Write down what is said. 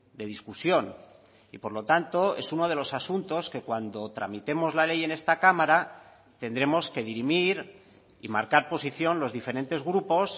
de discusión y por lo tanto es uno de los asuntos que cuando tramitemos la ley en esta cámara tendremos que dirimir y marcar posición los diferentes grupos